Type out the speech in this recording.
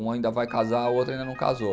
Uma ainda vai casar, a outra ainda não casou.